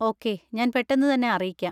Okay, ഞാൻ പെട്ടെന്ന് തന്നെ അറിയിക്കാം.